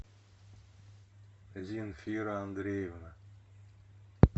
земфира андреевна